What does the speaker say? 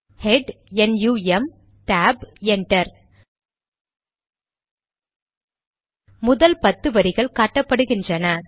head NUM tab enter முதல் பத்து வரிகள் காட்டப்படுகிறன